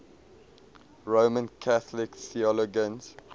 roman catholic theologians